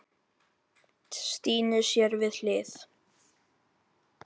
Stínu sér við hlið.